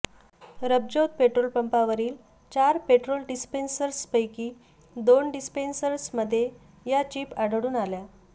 रबज्योत पेट्रोलपंपावरील चार पेट्रोल डिन्सपेसर्सपैकी दोन डिस्पेन्सर्समध्ये या चिप आढळून आल्या